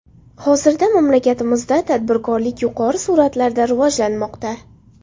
Hozirda mamlakatimizda tadbirkorlik yuqori sur’atlarda rivojlanmoqda.